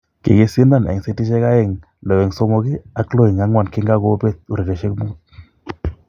kikisindan en setishiek aeng 6-3 ak 6-4 kinkakobet urerioshek muut